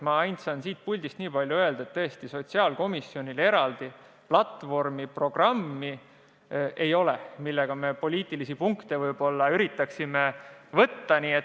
Ma saan siit puldist aga vaid nii palju öelda, et sotsiaalkomisjonil ei ole eraldi programmi, millega me ehk poliitilisi punkte üritaksime võita.